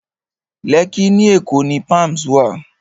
Lẹ́kkí ní Èkó ni Palms wà